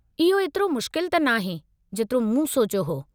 इहो एतिरो मुश्किल त नाहे , जेतिरो मूं सोचियो हो.